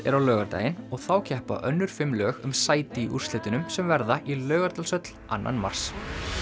er á laugardaginn og þá keppa önnur fimm lög um sæti í úrslitunum sem verða í Laugardalshöll annan mars